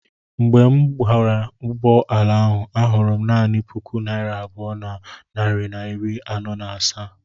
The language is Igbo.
Mgbe m meghere ụgbọ ala ahụ, ahụrụ m naanị puku naira abụọ na narị na iri anọ na asaa.